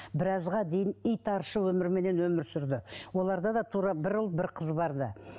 біразға дейін итаршыл өмірменен өмір сүрді оларда да тура бір ұл бір қыз бар ды